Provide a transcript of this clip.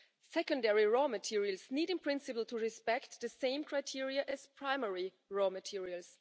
Secondary raw materials need, in principle, to meet the same criteria as primary raw materials.